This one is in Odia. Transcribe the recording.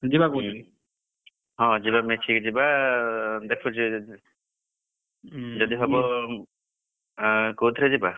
ଯିବାକୁ ବୋଲି? ହଁ ଯିବା ମିଶିକି ଯିବା ଦେଖୁଛି ଯଦି , ଯଦି ହବ ଉଁ, ଆଁ କୋଉଥିରେ ଯିବା?